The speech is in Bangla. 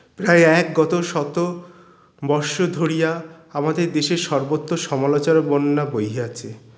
প্রায় এক গত শত বর্ষ ধরিয়া আমাদের দেশের সর্বত্র সমালোচনার বন্যা বহিয়াছে